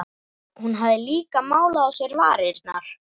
Hún hafði líka málað á sér varirnar.